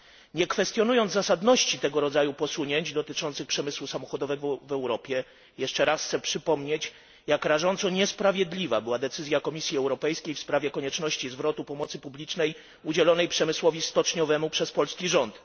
Nie kwestionując zasadności tego rodzaju posunięć dotyczących przemysłu samochodowego w Europie jeszcze raz chcę przypomnieć jak, rażąco niesprawiedliwa była decyzja Komisji Europejskiej w sprawie konieczności zwrotu pomocy publicznej udzielonej przemysłowi stoczniowemu przez polski rząd.